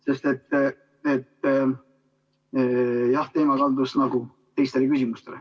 Sest jah, arutelu kaldus nagu teistele küsimustele.